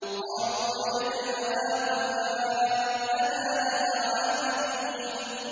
قَالُوا وَجَدْنَا آبَاءَنَا لَهَا عَابِدِينَ